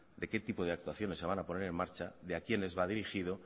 de qué tipos de actuaciones se van a poner en marcha de a quiénes va dirigido